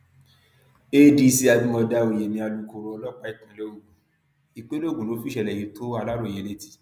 adc abimodá oyemi alūkkoro ọlọpàá ìpínlẹ ogun ìpínlẹ ogun ló fìṣẹlẹ yìí tó aláròye létí